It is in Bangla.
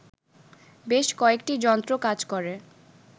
বেশ কয়েকটি যন্ত্র কাজ করে